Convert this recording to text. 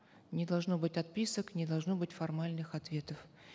не должно быть отписок не должно быть формальных ответов